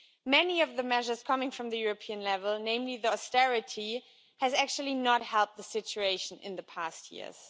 Many of the measures coming from the European level, namely austerity, have actually not helped the situation in recent years.